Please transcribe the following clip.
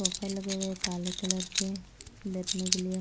buffer लगे हुए है काले कलर के बैठने के लिए--